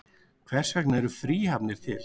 Hvers vegna eru fríhafnir til?